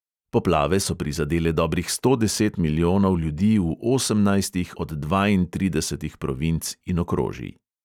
Poplave so prizadele dobrih sto deset milijonov ljudi v osemnajstih od dvaintridesetih provinc in okrožij.